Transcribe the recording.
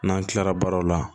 N'an kilara baaraw la